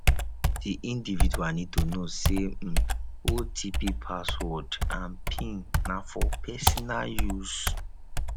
di individual need to know sey um otp password and pin na for personal use